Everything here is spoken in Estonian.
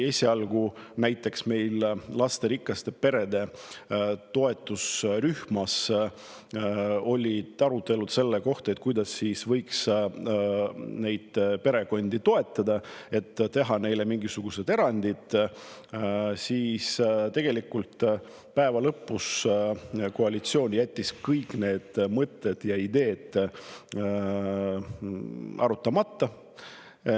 Esialgu näiteks meil lasterikaste perede toetusrühmas olid arutelud selle üle, kuidas võiks neid perekondi toetada, kas võiks teha neile mingisugused erandid, aga lõpuks jättis koalitsioon kõik need mõtted ja ideed arutamata.